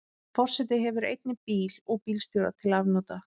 Forseti hefur einnig bíl og bílstjóra til afnota.